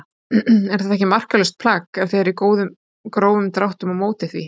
Er þetta ekki marklaust plagg ef þið eruð í grófum dráttum á móti því?